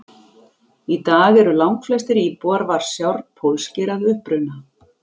Í dag eru langflestir íbúar Varsjár pólskir að uppruna.